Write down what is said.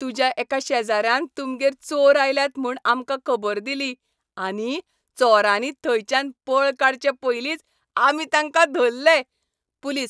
तुज्या एका शेजाऱ्यान तुमगेर चोर आयल्यात म्हूण आमकां खबर दिली आनी चोरांनी थंयच्यान पळ काडचें पयलींच आमी तांका धरलें. पुलीस